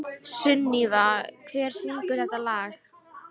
Sunníva, hver syngur þetta lag?